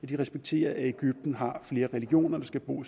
de respekterer at egypten har flere religioner der skal bo